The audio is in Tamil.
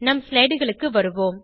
நம் slideகளுக்கு வருவோம்